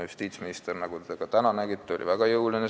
Justiitsminister, nagu te ka täna nägite, on väga jõuline.